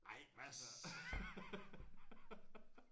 Ej hvad siger